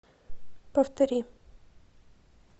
повтори